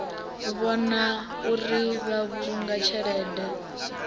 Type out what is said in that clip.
vhona uri vha vhulunga tshelede